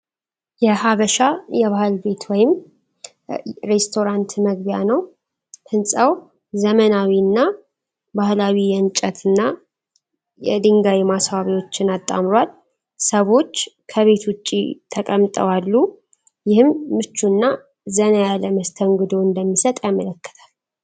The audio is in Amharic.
የ“ሐበሻ የባህል ቤት” ወይም ሬስቶራንት መግቢያ ነው። ሕንፃው ዘመናዊ እና ባህላዊ የእንጨት እና የድንጋይ ማስዋቢያዎችን አጣምሯል። ሰዎች ከቤት ውጪ ተቀምጠው አሉ፣ ይህም ምቹ እና ዘና ያለ መስተንግዶ እንደሚሰጥ ያመለክታል።